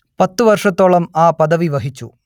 പത്തു വർഷത്തോളം ആ പദവി വഹിച്ചു